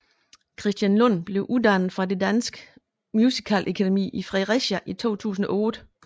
Christian Lund blev uddannet fra Det Danske Musicalakademi i Fredericia i 2008